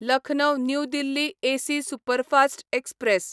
Lucknow new Delhi AC superfast express